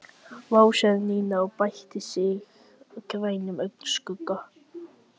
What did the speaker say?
Sjálfur virðist Þórbergur horfa gersamlega framhjá veruleikanum og afleiðingum gerðanna.